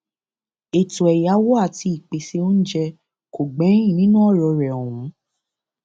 ètò ẹyáwó àti ìpèsè oúnjẹ kò gbẹyìn nínú ọrọ rẹ ọhún